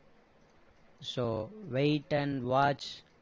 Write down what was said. so wait and watch